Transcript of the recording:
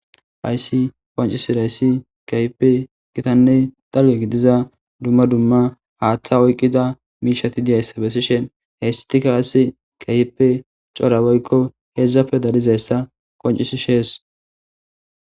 hayssi wancisirayssi kayipe gitanne dalle gidiza dumma dumma haaththa oyqqida miishati diyaysabesishen heestika asi kahippe cora woykko hedzdzafe darizayssa qoncisi shees